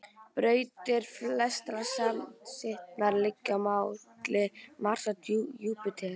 Brautir flestra smástirnanna liggja milli Mars og Júpíters.